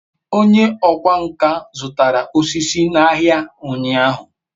onye okwá nkà zutara osisi n'ahia unyahu